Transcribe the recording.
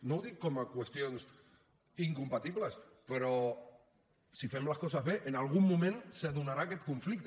no ho dic com a qüestions incompatibles però si fem les coses bé en algun moment se donarà aquest conflicte